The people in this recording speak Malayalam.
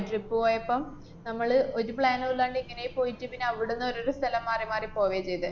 trip പോയപ്പം നമ്മള് ഒരു plan നുമില്ലാണ്ട് ഇങ്ങനേ പോയിട്ട് പിന്നവിടുന്ന് ഓരോരോ സ്ഥലം മാറിമാറി പോവേ ചെയ്തെ.